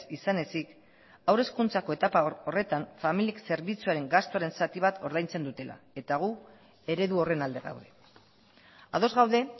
izan ezik haur hezkuntzako etapa horretan familiek zerbitzuaren gastuaren zati bat ordaintzen dutela eta gu eredu horren alde gaude ados gaude